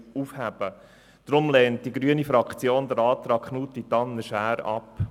Deshalb lehnt die grüne Fraktion den Antrag Knutti/Tanner/Schär ab.